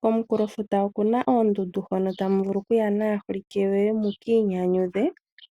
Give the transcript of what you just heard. Komukulo futa okuna oondundu hono tamu vulu okuya naholike yoye mukinyanyudhe